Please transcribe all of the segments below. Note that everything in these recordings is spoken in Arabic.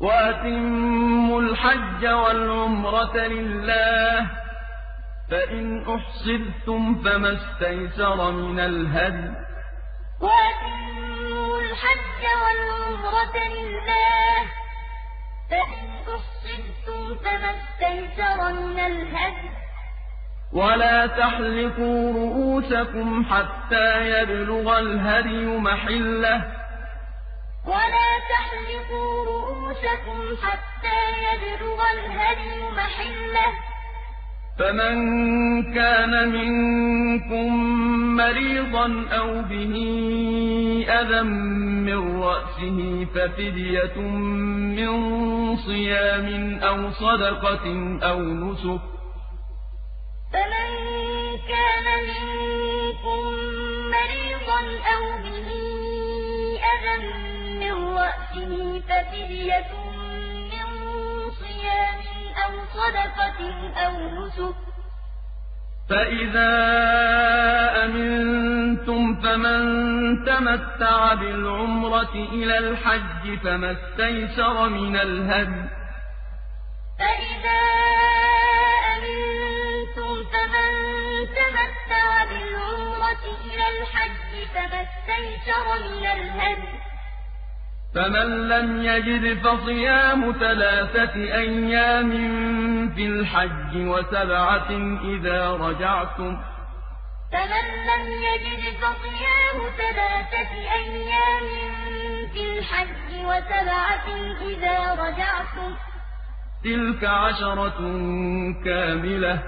وَأَتِمُّوا الْحَجَّ وَالْعُمْرَةَ لِلَّهِ ۚ فَإِنْ أُحْصِرْتُمْ فَمَا اسْتَيْسَرَ مِنَ الْهَدْيِ ۖ وَلَا تَحْلِقُوا رُءُوسَكُمْ حَتَّىٰ يَبْلُغَ الْهَدْيُ مَحِلَّهُ ۚ فَمَن كَانَ مِنكُم مَّرِيضًا أَوْ بِهِ أَذًى مِّن رَّأْسِهِ فَفِدْيَةٌ مِّن صِيَامٍ أَوْ صَدَقَةٍ أَوْ نُسُكٍ ۚ فَإِذَا أَمِنتُمْ فَمَن تَمَتَّعَ بِالْعُمْرَةِ إِلَى الْحَجِّ فَمَا اسْتَيْسَرَ مِنَ الْهَدْيِ ۚ فَمَن لَّمْ يَجِدْ فَصِيَامُ ثَلَاثَةِ أَيَّامٍ فِي الْحَجِّ وَسَبْعَةٍ إِذَا رَجَعْتُمْ ۗ تِلْكَ عَشَرَةٌ كَامِلَةٌ ۗ ذَٰلِكَ لِمَن لَّمْ يَكُنْ أَهْلُهُ حَاضِرِي الْمَسْجِدِ الْحَرَامِ ۚ وَاتَّقُوا اللَّهَ وَاعْلَمُوا أَنَّ اللَّهَ شَدِيدُ الْعِقَابِ وَأَتِمُّوا الْحَجَّ وَالْعُمْرَةَ لِلَّهِ ۚ فَإِنْ أُحْصِرْتُمْ فَمَا اسْتَيْسَرَ مِنَ الْهَدْيِ ۖ وَلَا تَحْلِقُوا رُءُوسَكُمْ حَتَّىٰ يَبْلُغَ الْهَدْيُ مَحِلَّهُ ۚ فَمَن كَانَ مِنكُم مَّرِيضًا أَوْ بِهِ أَذًى مِّن رَّأْسِهِ فَفِدْيَةٌ مِّن صِيَامٍ أَوْ صَدَقَةٍ أَوْ نُسُكٍ ۚ فَإِذَا أَمِنتُمْ فَمَن تَمَتَّعَ بِالْعُمْرَةِ إِلَى الْحَجِّ فَمَا اسْتَيْسَرَ مِنَ الْهَدْيِ ۚ فَمَن لَّمْ يَجِدْ فَصِيَامُ ثَلَاثَةِ أَيَّامٍ فِي الْحَجِّ وَسَبْعَةٍ إِذَا رَجَعْتُمْ ۗ تِلْكَ عَشَرَةٌ كَامِلَةٌ ۗ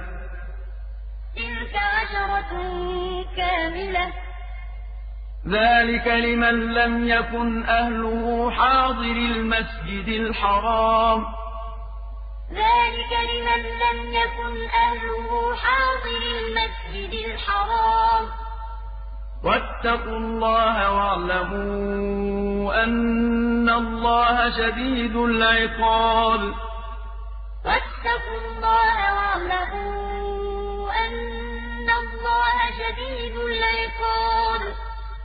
ذَٰلِكَ لِمَن لَّمْ يَكُنْ أَهْلُهُ حَاضِرِي الْمَسْجِدِ الْحَرَامِ ۚ وَاتَّقُوا اللَّهَ وَاعْلَمُوا أَنَّ اللَّهَ شَدِيدُ الْعِقَابِ